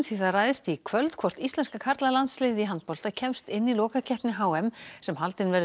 það ræðst í kvöld hvort íslenska karlalandsliðið í handbolta kemst inn í lokakeppni h m sem haldin verður í